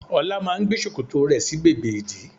Ọlá máa ń gbé ṣòkòtò rẹ̀ sí bèbè ìdí